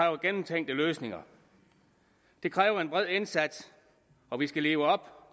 og gennemtænkte løsninger det kræver en bred indsats og vi skal leve op